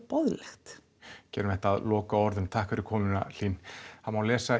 boðlegt gerum þetta að lokaorðum takk fyrir komuna Hlín það má